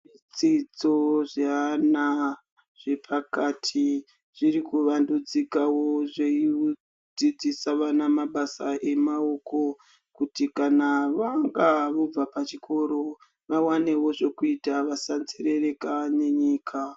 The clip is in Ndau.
Dzidzo dzevana vepakati dziri kuvandudzikawo veidzidzisa vana mabasa emaoko kuti kana vanga vobva pachikoro vawanewo zvekuita vasanzerereka nenyika.